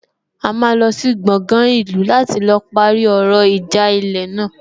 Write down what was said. A máa lọ sí gbọgán ìlú láti lọ parí ọ̀rọ̀ ìjà ilẹ̀ náà